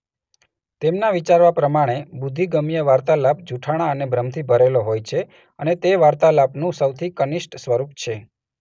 તેમના વિચારવા પ્રમાણે બુદ્ધિગમ્ય વાર્તાલાપ જુઠ્ઠાણા અને ભ્રમથી ભરેલો હોય છે અને તે વાર્તાલાપનું સૌથી કનિષ્ઠ સ્વરૂપ છે.